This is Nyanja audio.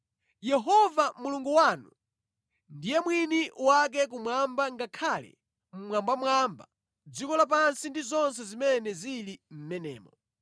Yehova Mulungu wanu ndiye mwini wake kumwamba ngakhale mmwambamwamba, dziko lapansi ndi zonse zimene zili mʼmenemo.